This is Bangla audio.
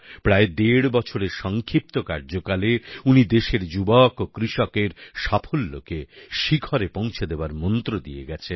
প্রায় দেড় বছরের সংক্ষিপ্ত কার্যকালে উনি দেশের যুবক ও কৃষকের সাফল্যকে শিখরে পৌঁছে দেওয়ার মন্ত্র দিয়ে গেছেন